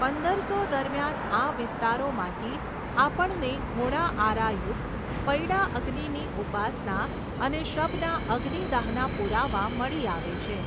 પંદરસો દરમિયાન આ વિસ્તારોમાંથી આપણને ઘોડાઆરાયુકત પૈડાંઅગ્નિની ઉપાસના અને શબના અગ્નિદહના પુરાવા મળી આવે છે.